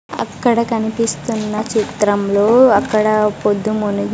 అక్కడ కనిపిస్తున్న చిత్రంలో అక్కడ పొద్దు మునిగి--